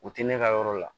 U tɛ ne ka yɔrɔ la